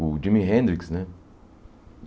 O Jimi Hendrix, né?